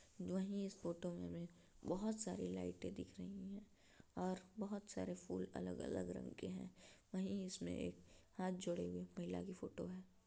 जोंही इस फोटो मे हमे बहोत सारी लाइटे दिख रही हैं और बहोत सारे फूल अलग-अलग रंग के हैं। वहीं इसमे एक हाथ जोड़े हुए महिला की फोटो है।